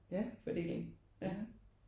Ja ja